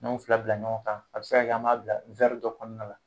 N'an ye o fila bila ɲɔgɔn kan a bɛ se ka kɛ an m'a bila dɔ kɔnɔna na.